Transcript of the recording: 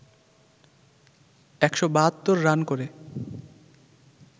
১৭২ run করে